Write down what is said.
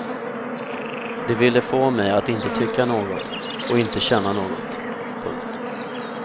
De ville få mig att inte tycka något och inte känna något. punkt